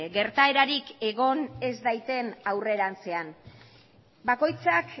gertaerarik egon ez daiten aurrerantzean bakoitzak